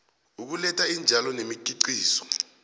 ukuletha iintjalo nemikhiqizo